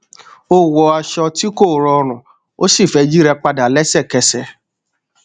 ó wọ aṣọ tí kò rọrùn ó sì fẹ yíra padà lẹsẹkẹsẹ